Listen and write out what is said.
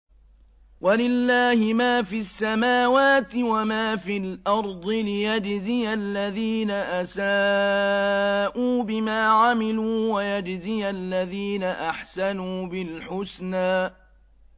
وَلِلَّهِ مَا فِي السَّمَاوَاتِ وَمَا فِي الْأَرْضِ لِيَجْزِيَ الَّذِينَ أَسَاءُوا بِمَا عَمِلُوا وَيَجْزِيَ الَّذِينَ أَحْسَنُوا بِالْحُسْنَى